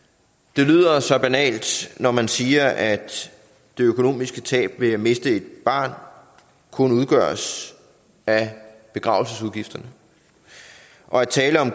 det lyder så banalt når man siger at det økonomiske tab ved at miste et barn kun udgøres af begravelsesudgifterne og at tale om